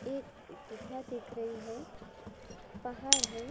एक गुफा दिख रही है पहाड़ है।